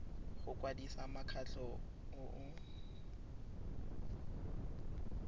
go kwadisa mokgatlho o o